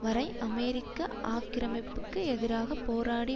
வரை அமெரிக்க ஆக்கிரமிப்புக்கு எதிராக போராடி